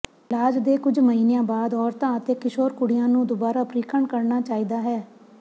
ਇਲਾਜ ਦੇ ਕੁਝ ਮਹੀਨਿਆਂ ਬਾਅਦ ਔਰਤਾਂ ਅਤੇ ਕਿਸ਼ੋਰ ਕੁੜੀਆਂ ਨੂੰ ਦੁਬਾਰਾ ਪ੍ਰੀਖਣ ਕਰਨਾ ਚਾਹੀਦਾ ਹੈ